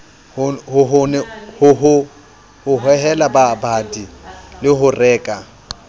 ho hohela babadi ho reka